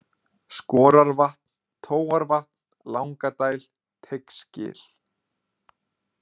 Skorarvatn, Tóarvatn, Langadæl, Teigsgil